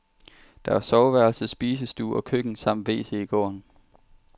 Der var soveværelse, spisestue og køkken samt wc i gården.